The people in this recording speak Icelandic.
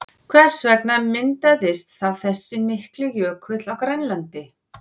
Hvers vegna myndaðist þá þessi mikli jökull á Grænlandi?